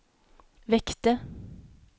väckte